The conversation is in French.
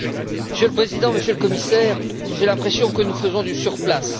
Monsieur le président, Monsieur le Commissaire, j'ai l'impression que nous faisons du surplace.